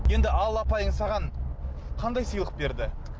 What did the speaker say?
енді алла апайың саған қандай сыйлық берді